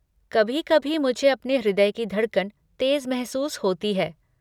कभी कभी मुझे अपने हृदय की धड़कन तेज़ महसूस होती है।